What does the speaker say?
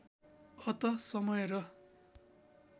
अत समय र